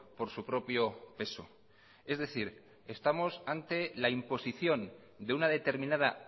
por su propio peso es decir estamos ante la imposición de una determinada